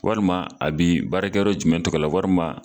Warima a bi baarakɛ yɔrɔ jumɛn tɔgɔ la warima.